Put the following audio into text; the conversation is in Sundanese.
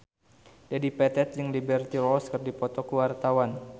Dedi Petet jeung Liberty Ross keur dipoto ku wartawan